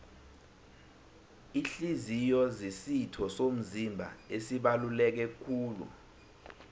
ihliziyo zisitho somzimba esibaluleke kulu